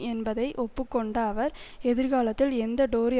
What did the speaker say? என்பதை ஒப்புக்கொண்ட அவர் எதிர்காலத்தில் எந்த டோரி